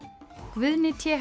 Guðni t